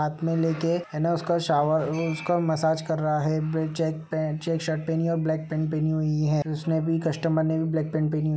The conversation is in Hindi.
हाथ में लेके है ना उसका शावर वो उसका मसाज कर रहा है print check pen check shirt पहनी है और ब्लैक पैंट पहनी हुई है उसने भी कस्टमर ने भी ब्लैक पैंट पहनी हुई --